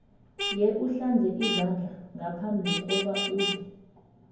yewuhlanze izandla ngaphambi kobana udle